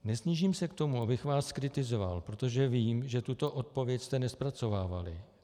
Nesnížím se k tomu, abych vás kritizoval, protože vím, že tuto odpověď jste nezpracovávali.